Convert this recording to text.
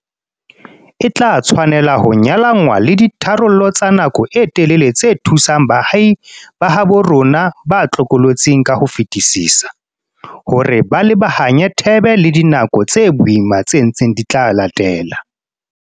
E tla tshwanela ho nyalanngwa le ditharollo tsa nako e telele tse thusang baahi ba habo rona ba tlokotsing ka ho fetisisa, hore ba lebahanye thebe le dinako tse boima tse ntseng di tla latela.